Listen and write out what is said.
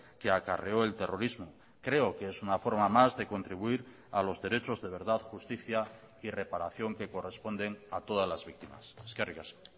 que acarreó el terrorismo creo que es una forma más de contribuir a los derechos de verdad justicia y reparación que corresponden a todas las víctimas eskerrik asko